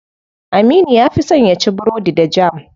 Aminu ya fi son yaci burodi da jam.